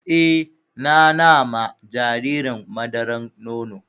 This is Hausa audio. Eh, na na ma jaririn madaran nono.